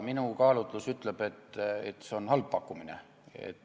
Minu kaalutlus ütleb, et see on halb pakkumine.